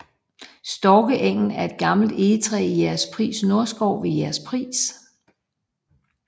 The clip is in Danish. Storkeegen er et gammelt egetræ i Jægerspris Nordskov ved Jægerspris